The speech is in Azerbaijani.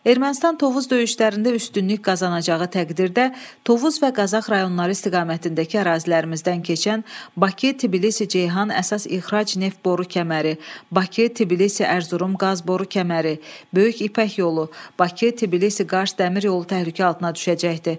Ermənistan Tovuz döyüşlərində üstünlük qazanacağı təqdirdə Tovuz və Qazax rayonları istiqamətindəki ərazilərimizdən keçən Bakı-Tbilisi-Ceyhan əsas ixrac neft boru kəməri, Bakı-Tbilisi-Ərzurum qaz boru kəməri, Böyük İpək yolu, Bakı-Tbilisi-Qars dəmir yolu təhlükə altına düşəcəkdi.